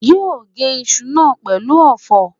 yóó gé iṣu náà pẹ̀lú ọ̀fọ̀?